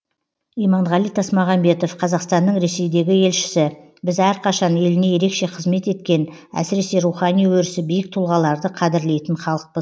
иманғали тасмағамбетов қазақстанның ресейдегі елшісі біз әрқашан еліне ерекше қызмет еткен әсіресе рухани өрісі биік тұлғаларды қадірлейтін халықпыз